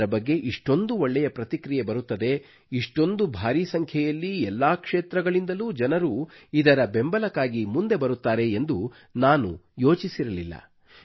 ಇದರ ಬಗ್ಗೆ ಇಷ್ಟೊಂದು ಒಳ್ಳೆಯ ಪ್ರತಿಕ್ರಿಯೆ ಬರುತ್ತದೆ ಇಷ್ಟೊಂದು ಭಾರೀ ಸಂಖ್ಯೆಯಲ್ಲಿ ಎಲ್ಲಾ ಕ್ಷೇತ್ರಗಳಿಂದಲೂ ಜನರು ಇದರ ಬೆಂಬಲಕ್ಕಾಗಿ ಮುಂದೆ ಬರುತ್ತಾರೆ ಎಂದು ನಾನು ಯೋಚಿಸಿರಲಿಲ್ಲ